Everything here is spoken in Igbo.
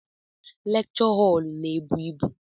Lekchọ họl n'ebu ịbụ.